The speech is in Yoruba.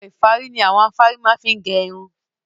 Ẹ̀rọ-ìfárí ni àwọn afárí má fi ń gẹ irun.